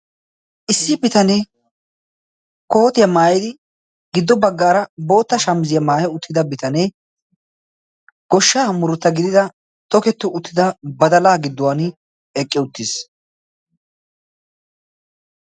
issi bitanee kootiyaa maayedi giddo baggaara bootta shamiziyaa maayi uttida bitanee goshsha amurutta gidida toketti uttida badalaa gidduwan eqqi uttiis